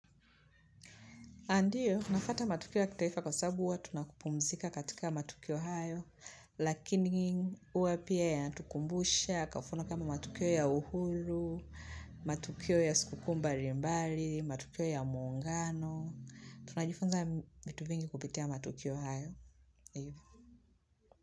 A ndiyo, nafuata matukio ya kitaifa kwa sababu huwa tunapumzika katika matukio hayo, lakini huwa pia yanatukumbusha, kafuu na kama matukio ya uhuru, matukio ya siku mbili mbali, matukio ya muungano, tunajifunza vitu vingi kupitia matukio hayo.